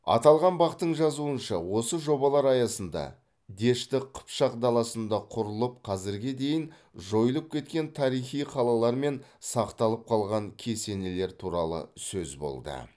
аталған бақ тың жазуынша осы жобалар аясында дешті қыпшақ даласында құрылып қазірге дейін жойылып кеткен тарихи қалалар мен сақталып қалған кесенелер туралы сөз болды